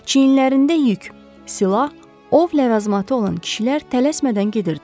Çiyinlərində yük, silah, ov ləvazimatı olan kişilər tələsmədən gedirdilər.